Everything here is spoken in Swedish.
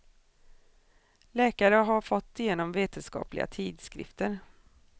Läkare har fått igenom vetenskapliga tidskrifter.